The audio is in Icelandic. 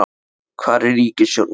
hvar er ríkisstjórnin?